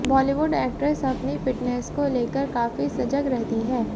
Bollywood actress अपनी fitness को लेकर काफी सजग रहती है